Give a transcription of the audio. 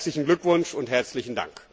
Herzlichen Glückwunsch und herzlichen Dank!